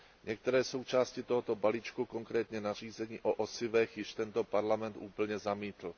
Některé součásti tohoto balíčku, konkrétně nařízení o osivech, již tento parlament úplně zamítl.